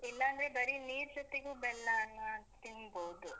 ಇಲ್ಲಾಂದ್ರೆ ಬರಿ ನೀರ್ ಜೊತೆಗು ಬೆಲ್ಲಾನ ತಿನ್ಬೋದು.